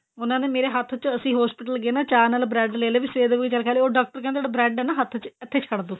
ਉਹਨਾ ਨੇ ਮੇਰੇ ਹੱਥ ਚ ਅਸੀਂ hospital ਗਏ ਨਾ ਚਾਹ ਨਾਲ bread ਲੈ ਲਏ ਸਵੇਰ ਦੇ ਕੁੱਝ ਖਾਇਆ ਨੀ ਉਹ ਡਾਕਟਰ ਕਹਿੰਦੇ bread ਏ ਨਾ ਹੱਥ ਚ ਇੱਥੇ ਛੱਡ ਦੋ